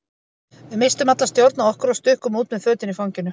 Við misstum alla stjórn á okkur og stukkum út með fötin í fanginu.